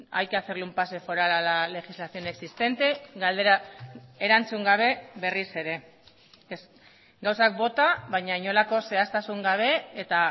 hay que hacerle un pase foral a la legislación existente galdera erantzun gabe berriz ere gauzak bota baina inolako zehaztasun gabe eta